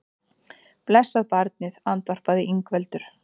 Blessað barnið, andvarpaði Ingveldur.